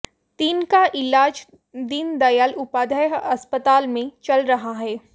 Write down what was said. तीन का इलाज दीन दयाल उपाध्याय अस्पताल में चल रहा है